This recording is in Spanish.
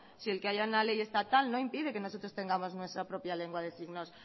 si el que haya una ley estatal no impide que nosotros tengamos nuestra propia lengua de signos